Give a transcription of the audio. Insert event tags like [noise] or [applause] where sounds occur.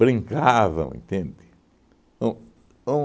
[laughs] Brincavam, entende? Um um